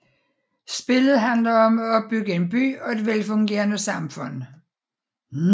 Spillet handler om at opbygge en by og et velfungerende samfund